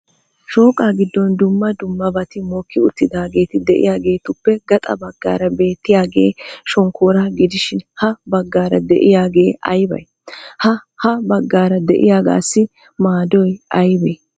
Shooqaa giddon dumma dummabati mokki uttidaageeti de'iyageetuppe gaxa baggaara beettiyagee shonkkooraa gidishin ha baggaara de'iyagee aybay? Ha ha baggaara de'iyagaassi maadoy aybee?